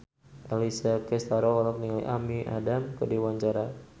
Alessia Cestaro olohok ningali Amy Adams keur diwawancara